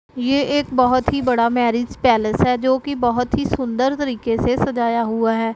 यह एक बहुत ही बड़ा मैरिज पैलेस है जो कि बहुत ही सुंदर तरीके से सजाया हुआ है।